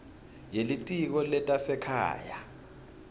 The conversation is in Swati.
ye litiko letasekhaya